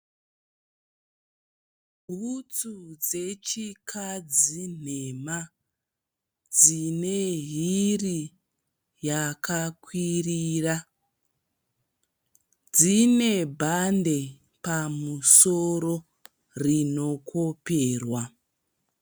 Bhutsu dzechikadzi nhema dzine hiri yakakwirira. Dzine bhande pamusoro rinokoperwa.